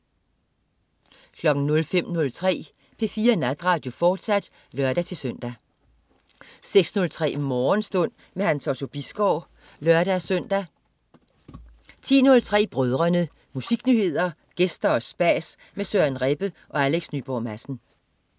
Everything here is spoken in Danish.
05.03 P4 Natradio, fortsat (lør-søn) 06.03 Morgenstund. Hans Otto Bisgaard (lør-søn) 10.03 Brødrene. Musiknyheder, gæster og spas med Søren Rebbe og Alex Nyborg Madsen